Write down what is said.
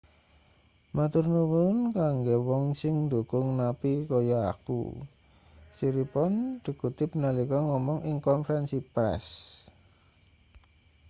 "matur nuwun kanggo wong sing ndukung napi kaya aku siriporn dikutip nalika ngomong ing konferensi press.